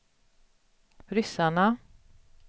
ryssarna